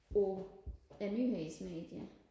på et nyhedsmedie